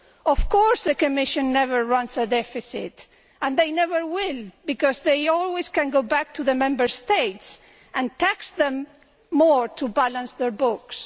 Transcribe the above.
Of course, the Commission never runs a deficit, and it never will, because it can always go back to the Member States and tax them more to balance its books.